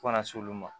Fo kana se olu ma